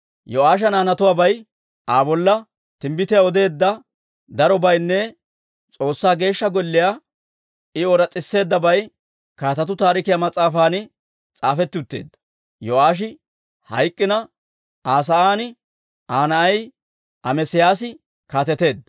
Yo'aasha naanatuwaabay, Aa bolla timbbitiyaa odeedda darobaynne S'oossaa Geeshsha Golliyaa I ooras's'iseeddabay Kaatetuu Taarikiyaa mas'aafan s'aafetti utteedda. Yo'aashi hayk'k'ina, Aa sa'aan Aa na'ay Amesiyaasi kaateteedda.